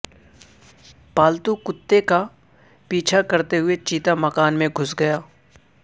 پالتو کتے کا پیچھا کرتے ہوئے چیتا مکان میں گھس گیا